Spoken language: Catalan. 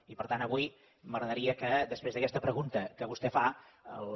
i per tant avui m’agradaria que després d’aquesta pregunta que vostè fa la